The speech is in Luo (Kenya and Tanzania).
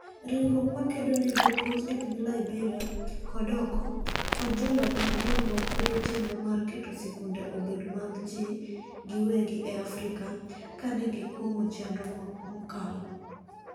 Riwruok makedo ne jopuonj epiny Liberia kod oko, kod jolony mag dongruok kwedo chenro mar keto sikunde obed mag ji giwegi e Afrika ka ne gikuong'o chenro mokalo.